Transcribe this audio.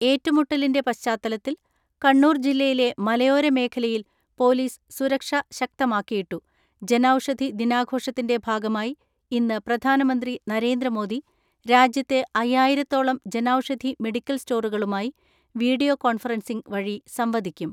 ഏറ്റുമുട്ടലിന്റെ പശ്ചാത്തലത്തിൽ കണ്ണൂർ ജില്ലയിലെ മലയോരമേഖലയിൽ പൊലീസ് സുരക്ഷ ശക്തമാക്കിയിട്ടു ജൻ ഔഷധി ദിനാഘോഷത്തിന്റെ ഭാഗമായി ഇന്ന് പ്രധാ നമന്ത്രി നരേന്ദ്രമോദി രാജ്യത്തെ അയ്യായിരത്തോളം ജൻ ഔഷധി മെഡിക്കൽ സ്റ്റോറുകളുമായി വീഡിയോ കോൺഫ റൻസിംഗ് വഴി സംവദിക്കും.